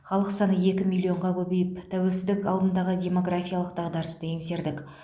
халық саны екі миллионға көбейіп тәуелсіздік алдындағы демографиялық дағдарысты еңсердік